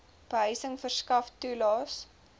behuising verskaf toelaes